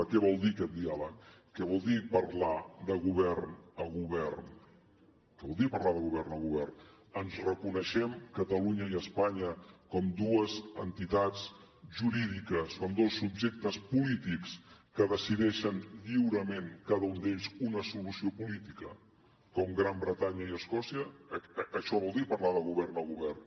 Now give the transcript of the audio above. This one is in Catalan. què vol dir aquest diàleg què vol dir parlar de govern a govern què vol dir parlar de govern a govern ens reconeixem catalunya i espanya com dues entitats jurídiques com dos subjectes polítics que decideixen lliurement cada un d’ells una solució política com gran bretanya i escòcia això vol dir parlar de govern a govern